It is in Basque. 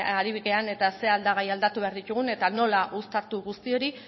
ari garen eta ze aldagai aldatu behar ditugun eta nola uztartu guzti hori